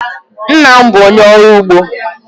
Nna m bụ onye ọrụ ugbo.